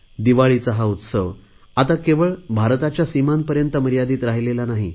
दिवाळीचा हा उत्सव आता केवळ भारताच्या सीमांपर्यंत मर्यादित राहिलेला नाही